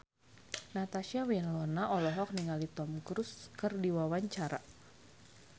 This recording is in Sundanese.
Natasha Wilona olohok ningali Tom Cruise keur diwawancara